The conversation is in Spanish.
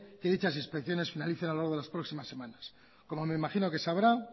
que dichas inspecciones finalicen a lo largo de las próximas semanas como me imagino que sabrá